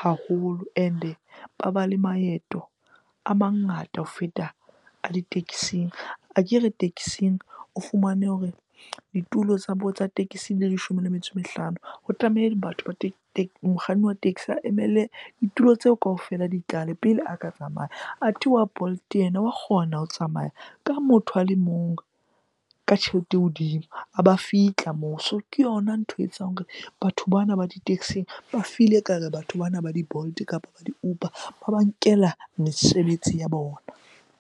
haholo and-e ba ba le maeto a mangata ho feta a di-taxing. Akere taxing o fumane hore ditulo tsa bo, tsa tekesi leshome le metso e mehlano. Ho batho mokganni wa taxi a emele ditulo tseo kaofela di tlale pele a ka tsamaya. Athe wa Bolt yena wa kgona ho tsamaya ka motho a le mong ka tjhelete e hodimo a ba fihla moo. So ke yona ntho etsang hore batho bana ba di-taxing ba feel-e ekare batho bana ba di-Bolt kapa ba di Uber ba ba nkela mesebetsi ya bona.